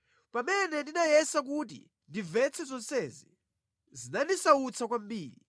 Pamene ndinayesa kuti ndimvetse zonsezi, zinandisautsa kwambiri